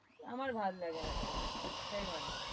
আমার ভাললাগে না politics জিনিসটাই ভাল লাগেনা